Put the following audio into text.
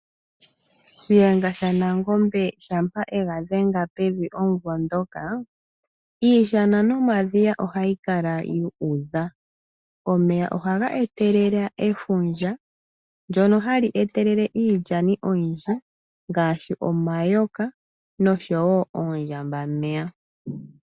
Shiyenga shaNangombe shampa ega dhenga pevi omumvo dhoka, iishana nomadhiya ohayi kala yu udha. Omeya ohaga etelele efundja, ndono hali etelele iilyani oyindji, ngashi omayoka noshowo oondjambameya.